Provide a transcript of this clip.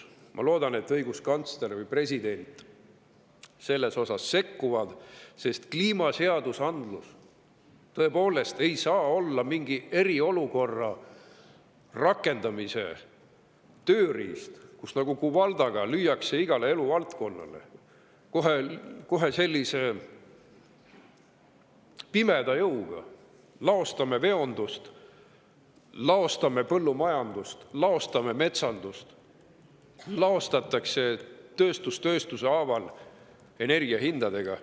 Ma loodan, et ka õiguskantsler või president selles osas sekkuvad, sest kliimaseadusandlus ei saa olla mingi eriolukorra rakendamise tööriist, millega iga eluvaldkonna pihta lüüakse nagu kuvaldaga, kohe sellise pimeda jõuga: laostame veondust, põllumajandust, metsandust, laostame tööstus tööstuse haaval energiahindadega.